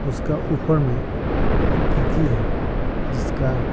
उसका ऊपर में एक खिड़की है जिसका --